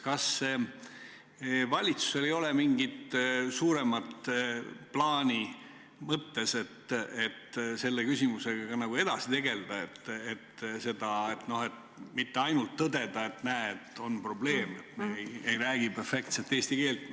Kas valitsusel ei ole mõttes mingit suuremat plaani, et selle küsimusega edasi tegelda, st mitte ainult tõdeda, et näed, on probleem, kui ei räägi perfektset eesti keelt.